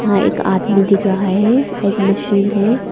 यहां एक आदमी दिख रहा हैं एक मशीन है।